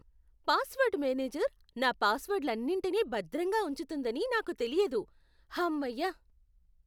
Password manager నా పాస్వర్డ్లన్నింటినీ భద్రంగా ఉంచుతుందని నాకు తెలియలేదు. హమ్మయ్య!